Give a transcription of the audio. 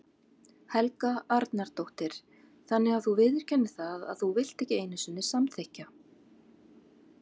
Helga Arnardóttir: Þannig að þú viðurkennir það að þú vilt ekki einu sinni samþykkja?